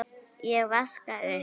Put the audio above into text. Ég vaska upp.